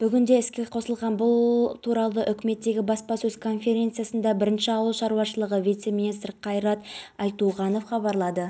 ескерте кетейік қажылық сапарына байланысты жас шектеуі тәжік елінде осымен үшінші рет енгізіліп отыр жылы тәжікстан